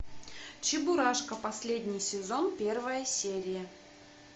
чебурашка последний сезон первая серия